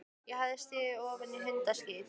Ég hafði stigið ofan í hundaskít.